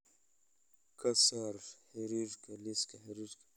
ka saar xiriirka liiska xiriirka